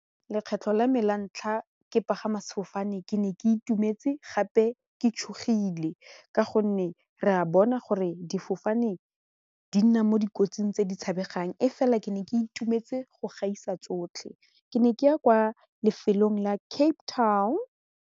Lekgetlho la me la ntlha ke pagama sefofane ke ne ke itumetse gape ke tshogile ka gonne re a bona gore difofane di nna mo dikotsing tse di tshabegang e fela ke ne ke itumetse go gaisa tsotlhe ke ne ke ya kwa lefelong la Cape Town.